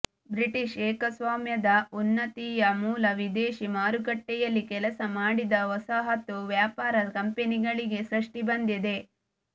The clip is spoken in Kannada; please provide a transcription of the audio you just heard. ಬ್ರಿಟಿಷ್ ಏಕಸ್ವಾಮ್ಯದ ಉನ್ನತಿಯ ಮೂಲ ವಿದೇಶಿ ಮಾರುಕಟ್ಟೆಯಲ್ಲಿ ಕೆಲಸ ಮಾಡಿದ ವಸಾಹತು ವ್ಯಾಪಾರ ಕಂಪನಿಗಳಿಗೆ ಸೃಷ್ಟಿ ಬಂದಿದೆ